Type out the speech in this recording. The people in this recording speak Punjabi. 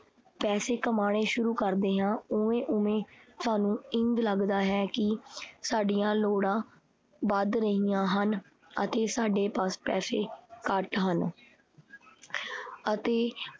ਪੈਸੇ ਕਮਾਣੇ ਸ਼ੁਰੂ ਕਰਦੇ ਹਾਂ, ਓਵੇਂ-ਓਵੇਂ ਸਾਨੂੰ ਇੰਝ ਲੱਗਦਾ ਹੈ ਕੀ ਸਾਡੀਆਂ ਲੋੜਾਂ ਵੱਧ ਰਹੀਆਂ ਹਨ ਅਤੇ ਸਾਡੇ ਪਾਸ ਪੈਸੇ ਘੱਟ ਹਨ ਅਤੇ